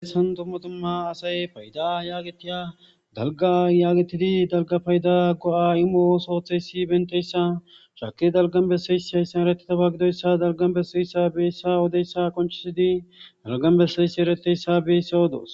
Eesan tummatumma asay payda yaagetiya dalga yaagetidi dalga payda go'a imoo sootheyssi benteyssa shaki dalgan besseysi hayssan erettitaba gidoyssa dalgan beseyssa beyssa odeyssa konchisidi dalgan besseysi ereteyssa beyssa odoos.